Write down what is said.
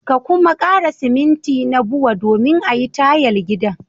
Ka kuma kara siminti na Bua domin a yi tayal gidan.